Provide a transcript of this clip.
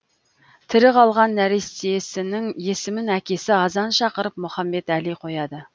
тірі қалған нәрестесінің есімін әкесі азан шақырып мұхамбетәли қояды